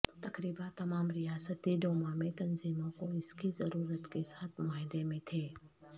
تقریبا تمام ریاستی ڈوما میں تنظیموں کو اس کی ضرورت کے ساتھ معاہدے میں تھے